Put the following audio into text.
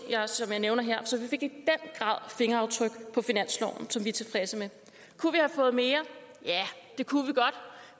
som jeg nævner her fingeraftryk på finansloven som vi er tilfredse med kunne vi have fået mere ja det kunne vi godt